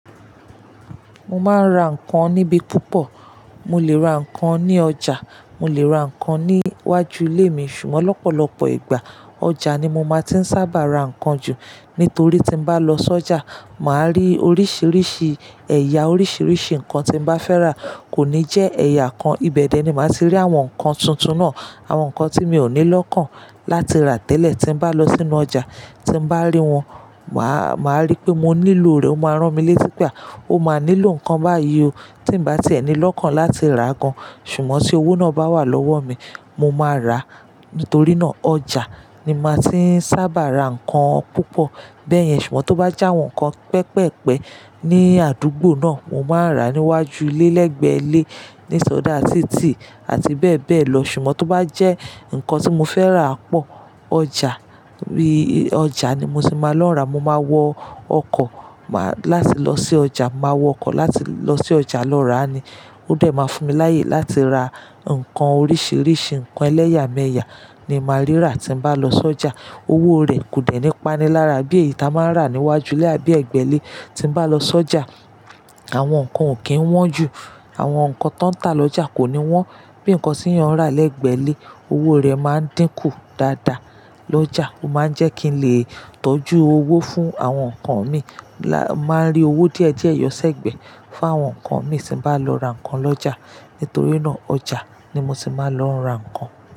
Mo máa ń ra ǹkan níbí púpọ̀, mo lè ra ǹkan ní ọjà, mo lè ra ǹkan ní iwájú ilé mi, ṣùgbọ́n lọ́pọ̀lọpọ̀ ìgbà ọjà ni mo máa ti ń sábà ra ǹkan jù. Nítorí tí bá lọ sójà, mà á rí oríṣìíríṣìí ẹ̀yà, oríṣìíríṣìí ǹkan tí bá fẹ́ rà. Kò ní jẹ́ ẹ̀yà kan, ibẹ̀dẹ̀ ni màá ti rí àwọn ǹkan tuntun náà, àwọn ǹkan tí mi ò ní lọ́kàn láti rà tẹ́lẹ̀ tí n bá lọ sínú ọjà. Tí n bá rí wọn, mà á, mà á rí pé mo nílò rẹ̀, ó máa rán mi létí pé à, ó máa nílò ǹkan báyìí o tí bá ti ẹni lọ́kàn láti rà gan. Ṣùgbọ́n tí owó náà bá wà lọ́wọ́ mi, mo máa rà á. Nítorí náà ọjà ni màá ti ń sábà ra ǹkan púpọ̀. Bẹ́ẹ̀yẹn ṣùgbọ́n tó bá já àwọn ǹkan pẹpẹ́pẹ ní àdúgbò náà, mo máa ń rà á níwájú ilé lẹ́gbẹ̀ẹ́ ilé, ní sọ́dá títì àti bẹ́ẹ̀ bẹ́ẹ̀ lọ. Ṣùgbọ́n tó bá jẹ́ ǹkan tí mo fẹ́ rà pọ̀, ọjà, bíi ọjà ni mo ti máa lọ n rà á. Mo máa wọ ọkọ̀, mà á, láti lọ sí ọjà, màá wọ ọkọ̀ láti lọ sí ọjà lọ rà á ni. Ó dẹ máa fún mi láyè láti ra ǹkan oríṣìíríṣìí ǹkan ẹlẹ́yàmẹ̀yà ni màá rí rà tí n bá lọ sójà. Owó rẹ̀ kò dẹ́ni pani lára bí èyí ta máa ń rà níwájú ilé àbí ẹgbẹ̀ ile. Tí n bá lọ sójà, àwọn ǹkan ò kí ń wọ́n ju, àwọn ǹkan tó ń ta lọ́jà kò ní wọ́n bí ǹkan tí yín rán lẹ́gbẹ̀ẹ́ ilé. Owó rẹ̀ máa ń dínkù dáadáa. Lọ́jà, ó máa ń jẹ́ kí n lè tọ́jú owó fún àwọn ǹkan mi. Là máa ń rí owó díẹ̀ díẹ̀ ẹyọ sẹ́gbẹ̀ẹ́ fún àwọn ǹkan mi tí bá lọ ra ǹkan lọ́jà. Nítorí náà ọjà ni mo ti máa lọ ra ǹkan.